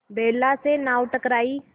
बेला से नाव टकराई